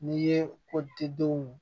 N'i ye kotigidenw